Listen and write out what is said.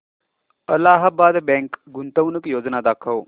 Allahabad bank गुंतवणूक योजना दाखव